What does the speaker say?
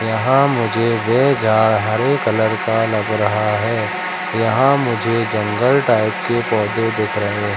यहां मुझे वे जार हरे कलर का लग रहा है यहां मुझे जंगली टाइप के पौधे देख रहे--